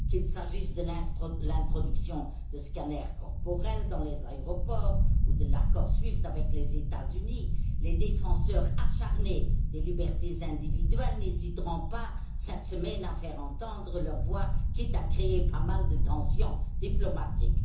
Qu'il s'agisse de l'introduction de scanners corporels dans les aéroports ou de l'accord SWIFT avec les États Unis, les défenseurs acharnés des libertés individuelles n'hésiteront pas, cette semaine, à faire entendre leur voix, quitte à créer de nombreuses tensions diplomatiques.